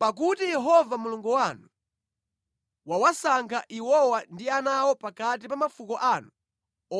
pakuti Yehova Mulungu wanu wawasankha iwowa ndi ana awo pakati pa mafuko anu